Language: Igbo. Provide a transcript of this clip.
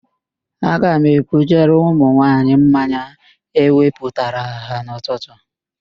Aga m ebujere ụmụnwaanyị mmanya ewepụtara ha n'ụtụtụ